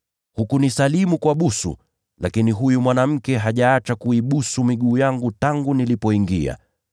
Hukunisalimu kwa busu, lakini huyu mwanamke hajaacha kuibusu miguu yangu tangu nilipoingia.